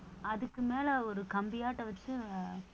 அதுக்கு மேல ஒரு கம்பியாட்டம் வச்சு